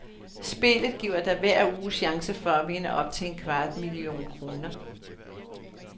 Spillet giver dig hver uge chancen for at vinde op til en kvart million kroner.